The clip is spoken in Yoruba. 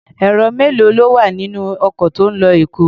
Èrò mélòó ló wà nínú ọkọ̀ tí ń lọ Èkó?